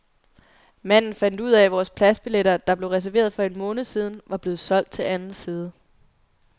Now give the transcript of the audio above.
Manden fandt ud af, at vores pladsbilletter, der blev reserveret for en måned siden, var blevet solgt til anden side.